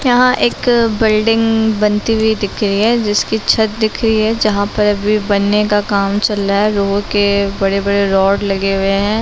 यहाँ एक बिल्डिंग बनती हुई दिख रही है जिसकी छत दिख रही है जहा पर भी बनने का काम चल रहा है लोहे के बड़े बड़े रॉड लगे हुए है।